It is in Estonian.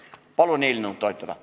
Palun eelnõu toetada!